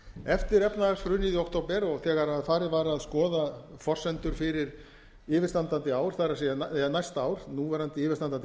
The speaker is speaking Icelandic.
eftir efnahagshrunið i október og þegar farið var að skoða forsendur fyrir yfirstandandi ár það er næsta ár núverandi yfirstandandi